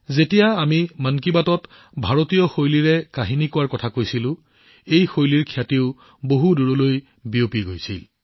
যেতিয়া আমি মন কী বাতত ভাৰতীয় কাহিনী কোৱাৰ কথা কৈছিলো ইয়াৰ খ্যাতিও বহু দূৰলৈ বিয়পি গৈছিল